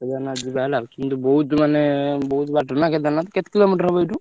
କେଦାରନାଥ ଯିବା ହେଲା କିନ୍ତୁ ବହୁତ ମାନେ ବହୁତ ବାଟ ନା କେଦାରନାଥ କେତେ kilometre ହବ ଏଇଠୁ?